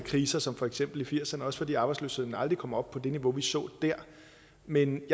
kriser som for eksempel i firserne også fordi arbejdsløsheden aldrig kom op på det niveau vi så der men